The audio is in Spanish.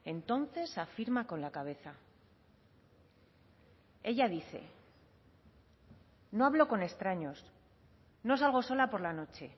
entonces afirma con la cabeza ella dice no hablo con extraños no salgo sola por la noche